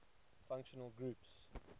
functional groups